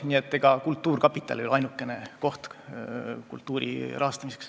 Nii et ega kultuurkapital ei ole ainukene koht kultuuri rahastamiseks.